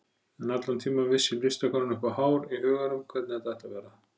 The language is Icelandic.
En allan tímann vissi listakonan upp á hár í huganum hvernig þetta ætti að vera.